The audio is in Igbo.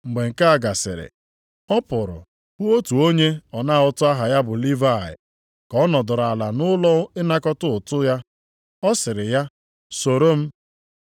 Mgbe nke a gasịrị, ọ pụrụ hụ otu onye ọna ụtụ aha ya bụ Livayị, ka ọ nọdụrụ ala nʼụlọ ịnakọta ụtụ ya. Ọ sịrị ya, “Soro m.”